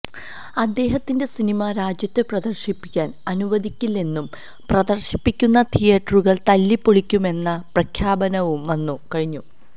അദ്ദേഹത്തിന്റെ സിനിമ രാജ്യത്ത് പ്രദര്ശിപ്പിക്കാന് അനുദിക്കില്ലെന്നും പ്രദര്ശിപ്പിക്കുന്ന തിയേറ്ററുകള് തല്ലിപ്പൊളിക്കുമെന്ന പ്രഖ്യാപനവും വന്നു കഴിഞ്ഞു